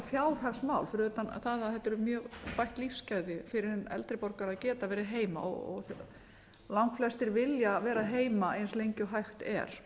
fjárhagsmál fyrir utan það að þetta eru mjög bætt lífsgæði fyrir hinn eldri borgara að geta verið heima og langflestir vilja vera heima eins lengi og hægt er